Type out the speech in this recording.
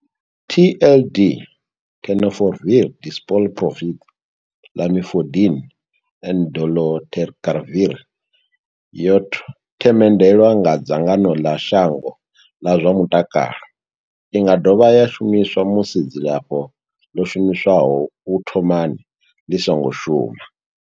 TLD, Tenofovir disoproxil, Lamivudine and dolutegravir, yo themendelwa nga dzangano ḽa shango ḽa zwa mutakalo. I nga dovha ya shumiswa musi dzilafho ḽo shumiswaho u thomani ḽi songo shuma.